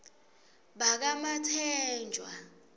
bakamatsenjwa